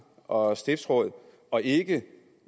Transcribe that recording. og stiftsråd og ikke